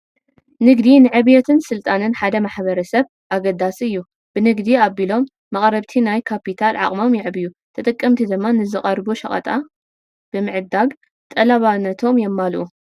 ንግዲ ንዕብየትን ስልጣነን ሓደ ማሕበረሰብ ኣገዳሲ እዩ፡፡ ብንግዲ ኣቢሎም መቕረብቲ ናይ ካፒታል ዓቕሞም የዕብዩ፡፡ ተጠቀምቲ ድማ ንዝቐርቡ ሸቐጣት ብምዕዳግ ጠለባቶም የማልኡ፡፡